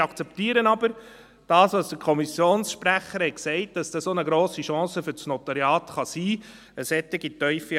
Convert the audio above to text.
Ich akzeptiere aber, was der Kommissionssprecher gesagt hat, dass eine solche, tiefe Evaluation auch eine grosse Chance für das Notariat sein kann.